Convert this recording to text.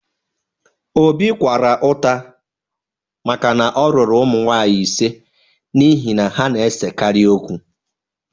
Obi kwara ụta maka na ọ lụrụ ụmụ nwanyị ise n’ihi na ha na-esekarị okwu